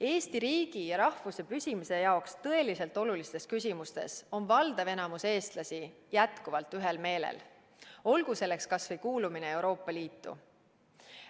Eesti riigi ja rahvuse püsimise seisukohalt tõeliselt olulistes küsimustes on enamik eestlasi jätkuvalt ühel meelel, olgu selleks kas või kuulumine Euroopa Liitu.